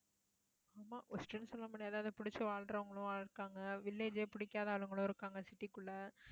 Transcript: ஆமா, worst ன்னு சொல்ல முடியாது அதை பிடிச்சு வாழ்றவங்களும் இருக்காங்க. village ஏ பிடிக்காத ஆளுங்களும் இருக்காங்க city க்குள்ள